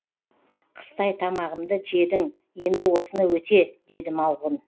қыстай тамағымды жедің енді осыны өте деді малғұн